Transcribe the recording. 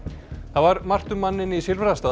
það var margt um manninn í